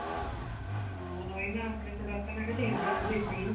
ਹਾਂ ਉਹੀ ਨਾ ਆਪਣੇ product ਮੈਂ ਕਿਹਾ change ਕਰਕੇ ਦੇਖਦੀ ਆਂ